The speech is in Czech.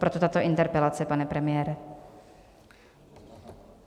Proto tato interpelace, pane premiére.